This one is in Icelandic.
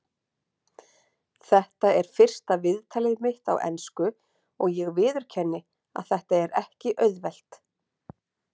Þetta er fyrsta viðtalið mitt á ensku og ég viðurkenni að þetta er ekki auðvelt.